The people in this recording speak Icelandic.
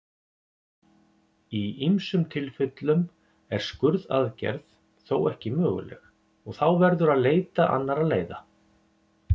Í ýmsum tilfellum er skurðaðgerð þó ekki möguleg og þá verður að leita annarra leiða.